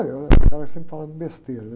Aí eu ficava sempre falando besteira.